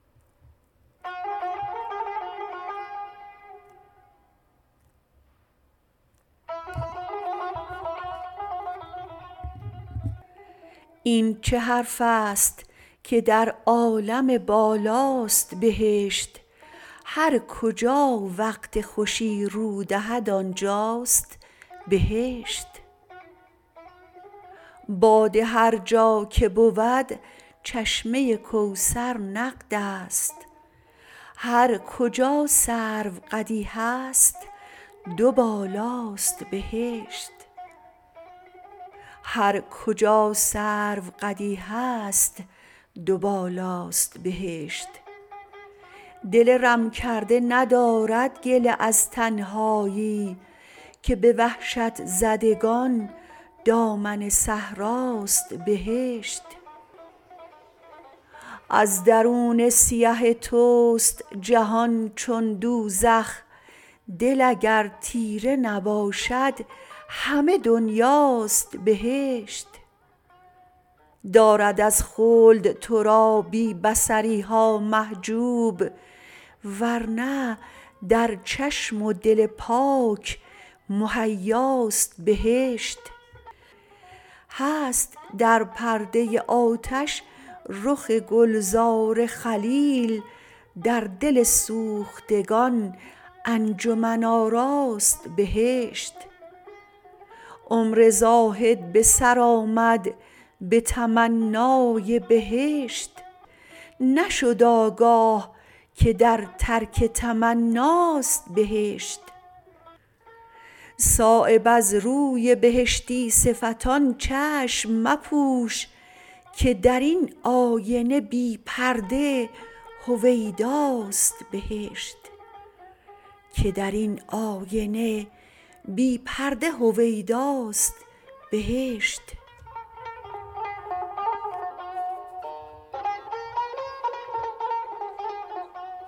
این چه حرف است که در عالم بالاست بهشت هر کجا وقت خوشی رو دهد آنجاست بهشت باده هر جا که بود چشمه کوثر نقدست هر کجا سرو قدی هست دو بالاست بهشت دل رم کرده ندارد گله از تنهایی که به وحشت زدگان دامن صحراست بهشت از درون سیه توست جهان چون دوزخ دل اگر تیره نباشد همه دنیاست بهشت دارد از خلد ترا بی بصریها محجوب ورنه در چشم و دل پاک مهیاست بهشت هست در پرده آتش رخ گلزار خلیل در دل سوختگان انجمن آراست بهشت عمر زاهد به سر آمد به تمنای بهشت نشد آگاه که در ترک تمناست بهشت صایب از روی بهشتی صفتان چشم مپوش که درین آینه بی پرده هویداست بهشت